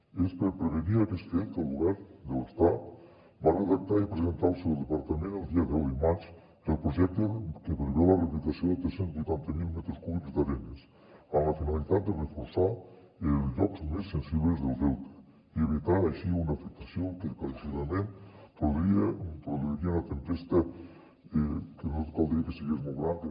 i és per prevenir aquest fet que el govern de l’estat va redactar i presentar al seu departament el dia deu de maig que el projecte que preveu la rehabilitació de tres cents i vuitanta miler metres cúbics d’arenes amb la finalitat de reforçar els llocs més sensibles del delta i evitar així una afectació que claríssimament produiria una tempesta que no caldria que fos molt gran que